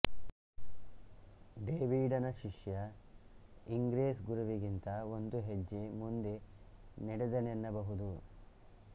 ಡೇವಿಡನ ಶಿಷ್ಯ ಇಂಗ್ರೆಸ್ ಗುರುವಿಗಿಂತ ಒಂದು ಹೆಜ್ಜೆ ಮುಂದೆ ನಡೆದನೆನ್ನಬಹುದು